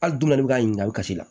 Hali dunan ne bɛ ka ɲininkali kasi la